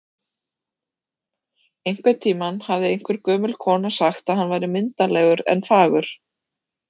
Einhvern tímann hafði einhver gömul kona sagt að hann væri myndarlegur en fagur